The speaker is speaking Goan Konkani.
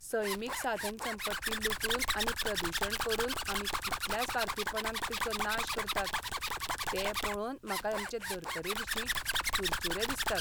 सैमीक साधनसंपत्ती लुटून आनी प्रदुशण करून आमी कितल्या स्वार्थीपणान तिचो नाश करतात तें पळोवन म्हाका आमचे धरतरेविशीं चुरचूरे दिसतात.